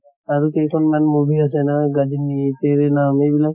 আৰি কেইখন মান movie আছে ন গজনী, এইবিলাক